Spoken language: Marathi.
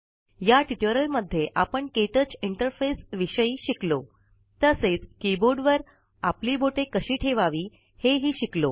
या टयूटोरिअलमध्ये आपण के टच इंटरफेस विषयी शिकलोतसेच किबोर्डवर आपली बोटे कशी ठेवावी हेही शिकलो